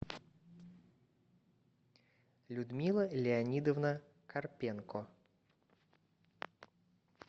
людмила леонидовна карпенко